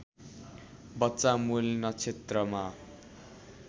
बच्चा मूल नक्षत्रमा